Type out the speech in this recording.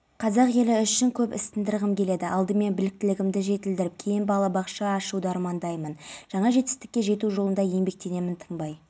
операциясы кезінде лаңкестер қарулы қарсылық көрсетіп біреуі өзін жарып жіберген жалпы адам жарақат алған оның